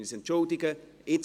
Wir entschuldigen uns.